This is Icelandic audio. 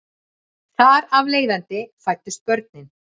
Þar af leiðandi fæddust börnin